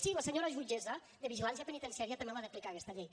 sí la senyora jutgessa de vigilància penitenciària també l’ha d’aplicar aquesta llei